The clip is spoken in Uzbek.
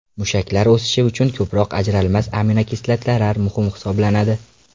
Mushaklar o‘sishi uchun ko‘proq ajralmas aminokislotalar muhim hisoblanadi.